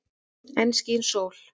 Enn skín sól.